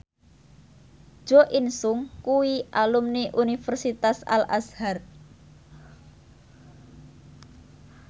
Jo In Sung kuwi alumni Universitas Al Azhar